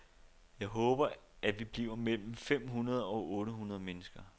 Jeg håber, at vi bliver mellem fem hundrede og otte hundrede mennesker.